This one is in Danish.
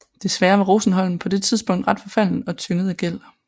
Desværre var Rosenholm på dette tidspunkt ret forfaldent og tynget af gæld